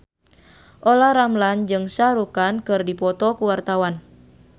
Olla Ramlan jeung Shah Rukh Khan keur dipoto ku wartawan